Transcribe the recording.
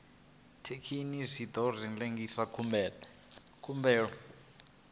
thekinini zwi ḓo lengisa khumbelo